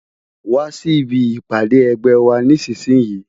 Wá si ibi ipàdé ègbè wà nìsísìyín